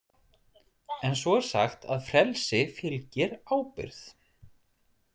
En svo er sagt að frelsi fylgir ábyrgð.